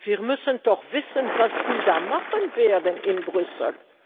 Wir müssen doch wissen, was die da machen werden in Brüssel.